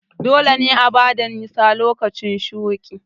Dole ne a bada nisa lokacin shuƙi